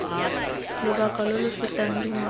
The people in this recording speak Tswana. lobaka lo lo fetang dingwaga